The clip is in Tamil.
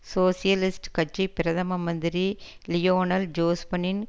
சோசியலிஸ்ட் கட்சி பிரதம மந்திரி லியோனல் ஜோஸ்பனின்